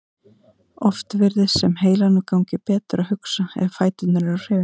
Oft virðist sem heilanum gangi betur að hugsa ef fæturnir eru á hreyfingu.